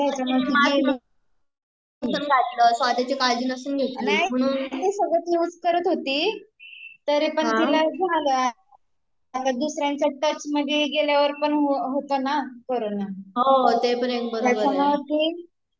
नाही सगळं युज करत होती तरी पण तिला झाला, दुसऱ्यांच्या टच मध्ये गेल्यावर पण होतो ना कोरोना